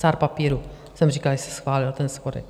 Cár papíru jsem říkala, že se schválil ten schodek.